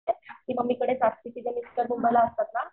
ती पण इकडेच असती तिचे मिस्टर दुबईला असतात ना.